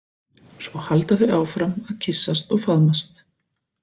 Svo halda þau áfram að kyssast og faðmast.